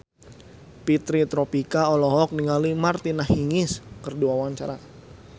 Fitri Tropika olohok ningali Martina Hingis keur diwawancara